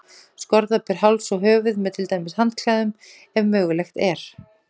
Skorða ber háls og höfuð, með til dæmis handklæðum, ef mögulegt er.